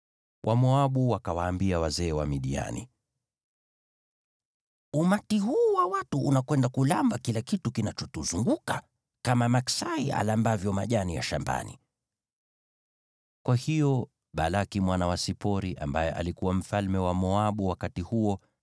Wamoabu wakawaambia wazee wa Midiani, “Umati huu wa watu unakwenda kuramba kila kitu kinachotuzunguka, kama maksai arambavyo majani ya shambani.” Kwa hiyo Balaki mwana wa Sipori, ambaye alikuwa mfalme wa Moabu wakati huo,